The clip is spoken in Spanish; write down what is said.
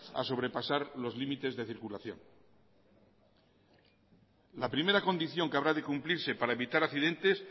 a sobrepasar los límites de circulación la primera condición que habrá de cumplirse para evitar accidentes